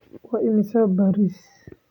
Waa imisa bariis?